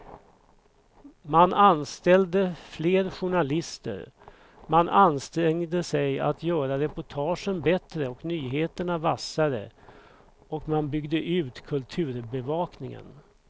Man anställde fler journalister, man ansträngde sig att göra reportagen bättre och nyheterna vassare och man byggde ut kulturbevakningen.